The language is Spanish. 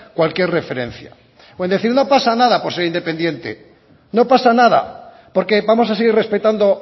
cualquier referencia con decir no pasa nada por ser independiente no pasa nada porque vamos a seguir respetando